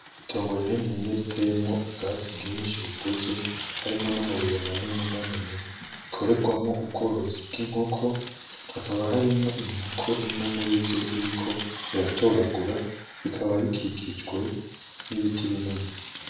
Itongo rininiya riteyemwo ubwatsi bwishi bukuze harimwo n'amabuye manini manini rikorerwamwo ubworozi bwi nkoko hakaba harimwo inkoko imwe murizo iriko iratoragura rikaba rikikijwe n'ibiti binini.